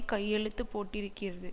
கையெழுத்து போட்டிருக்கிறது